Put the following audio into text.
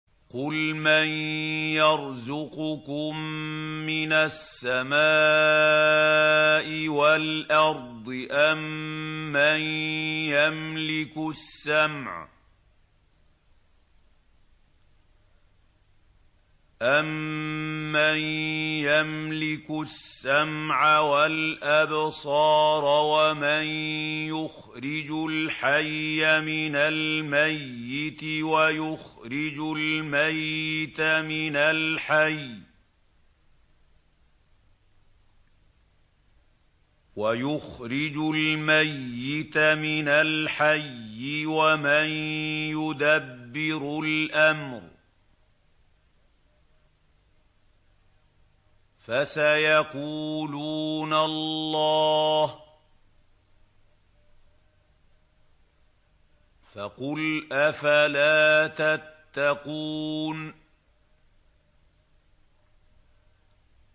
قُلْ مَن يَرْزُقُكُم مِّنَ السَّمَاءِ وَالْأَرْضِ أَمَّن يَمْلِكُ السَّمْعَ وَالْأَبْصَارَ وَمَن يُخْرِجُ الْحَيَّ مِنَ الْمَيِّتِ وَيُخْرِجُ الْمَيِّتَ مِنَ الْحَيِّ وَمَن يُدَبِّرُ الْأَمْرَ ۚ فَسَيَقُولُونَ اللَّهُ ۚ فَقُلْ أَفَلَا تَتَّقُونَ